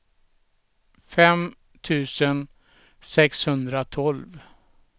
fem tusen sexhundratolv